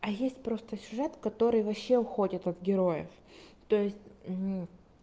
а есть просто сюжет который вообще уходит от героев то есть